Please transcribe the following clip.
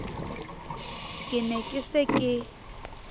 ke ne ke se ke